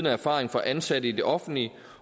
erfaring fra ansatte i det offentlige